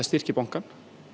styrki bankann